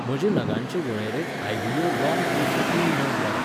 म्हजे नगांचे वळेरेंत आयव्हीओ लॉंग ट्रेचे तीन नग वाडय.